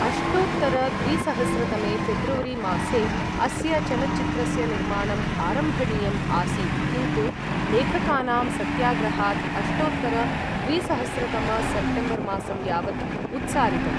अष्टोत्तर द्विसहस्रतमे फेब्रुवरी मासे अस्य चलच्चित्रस्य निर्माणम् आरम्भणीयम् आसीत्, किन्तु लेखकानां सत्याग्रहात्, अष्टोत्तर द्विसहस्रतम सेप्टेम्बर् मासं यावत् उत्सारितम्।